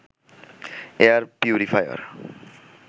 air purifier